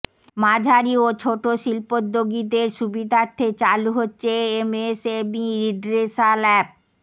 মাঝারি ও ছোট শিল্পদ্যোগীদের সুবিধার্থে চালু হচ্ছে এমএসএমই রিড্রেসাল অ্যাপ